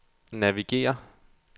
navigér